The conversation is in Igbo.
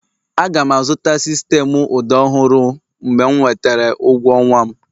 Aga m azụta sistemụ ụda ọhụrụ mgbe m nwetara ụgwọ ọnwa m